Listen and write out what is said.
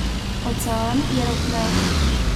Ocean je rohnel.